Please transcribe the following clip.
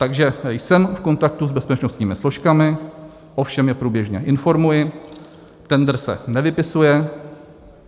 Takže jsem v kontaktu s bezpečnostními složkami, o všem je průběžně informuji, tendr se nevypisuje.